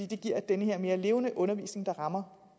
det giver den her mere levende undervisning der rammer